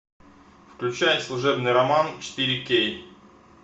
включай служебный роман четыре кей